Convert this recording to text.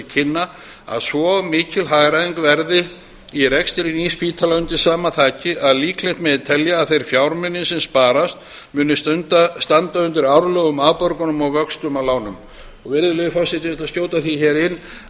kynna að svo mikil hagræðing verði í rekstri nýs spítala undir sama þaki að líklegt megi telja að þeir fjármunir sem sparast muni standa undir árlegum afborgunum og vöxtum af lánum virðulegur forseti ég ætla að skjóta því hér inn